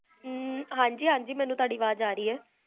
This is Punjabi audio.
ਹ੍ਮ੍ਮ ਹਾਂਜੀ ਹਾਂਜੀ ਮੇਨੂ ਤੁਹਾਡੀ ਆਵਾਜ਼ ਆ ਰਹੀ ਹੈ